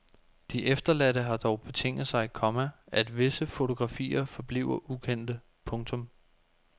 De efterladte har dog betinget sig, komma at visse fotografier forbliver ukendte. punktum